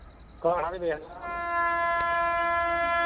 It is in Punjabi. ਘਰ ਆ ਕੇ ਵੇਖ ਲਾ।